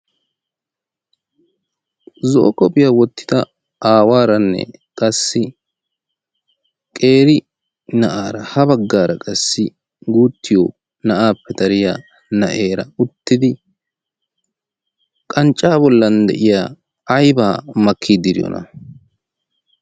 zo'o qophphiyaa wottida aawaaranne qassi qeeri na7aara ha baggaara qassi guuttiyo na7aappe dariya na7eera uttidi qanccaa bollan de7iya aibaa makkii de'iyoona?